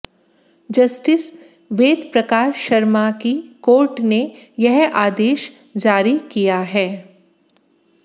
justice Vedprakash Sharma की court ने यह आदेश जारी किया है